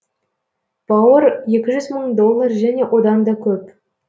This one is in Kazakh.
бауыр екі жүз мың доллар және оданда көп